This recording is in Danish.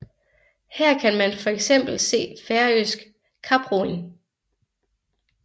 Her kan man for eksempel se færøsk kaproing